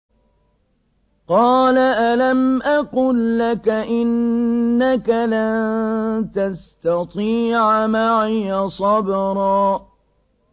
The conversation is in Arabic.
۞ قَالَ أَلَمْ أَقُل لَّكَ إِنَّكَ لَن تَسْتَطِيعَ مَعِيَ صَبْرًا